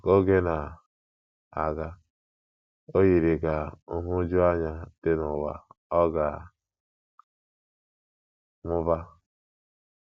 Ka oge na - aga, o yiri ka nhụjuanya dị n’ụwa ọ ga - amụba.